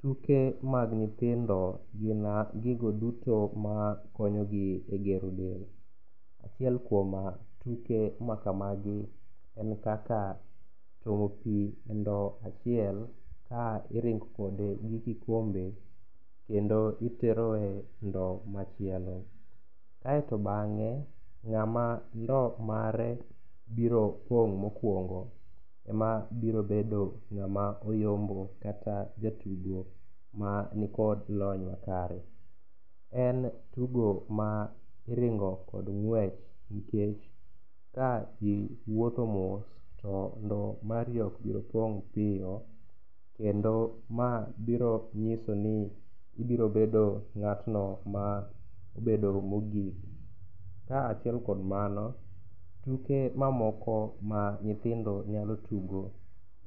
Tuke mag nyithindo gin gigo duto makonyogi e gero del. Achiel kuom tuke ma kamagi en kaka tuomo pi e ndowo achiel ka iringo kode gi kikombe kendo itero e ndowo machielo. Kaeto bang'e, ng'ama ndowo mare biro pong' mokwongo, ema biro bedo ng'ama oyombo kata jatugo ma nikod lony makare. En tugo ma iringo kod ng'wech nikech ka iwuotho mos to ndowo mari ok biro pong' piyo, kendo ma biro nyiso ni ibiro bedo ng'atno ma bedo mogik, ka achiel kod mano, tuke mamoko ma nyithindo nyalo tugo